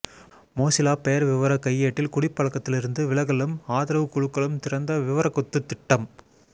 Mozilla பெயர்விவரக் கையேட்டில் குடிப்பழக்கத்திலிருந்து விலகலும் ஆதரவு குழுக்களும் திறந்த விவரக்கொத்து திட்டம்